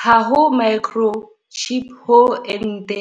Ha ho microchip ho ente